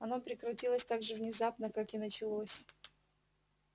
оно прекратилось так же внезапно как и началось